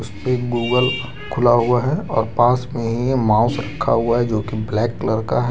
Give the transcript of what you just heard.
एक गूगल खुला हुआ है और पास में ही माउस रखा हुआ है जोकि ब्लैक कलर का है।